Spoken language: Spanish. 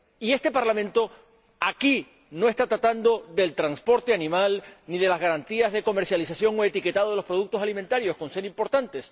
Y este Parlamento aquí no está tratando del transporte animal ni de las garantías de comercialización o etiquetado de los productos alimentarios, con ser importantes.